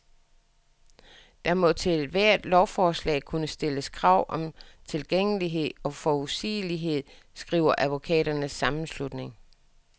Der må til ethvert lovforslag kunne stilles krav om tilgængelighed og forudsigelighed, skriver advokaternes sammenslutning.